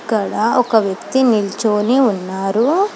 అక్కడ ఒక వ్యక్తి నిల్చొని ఉన్నారు.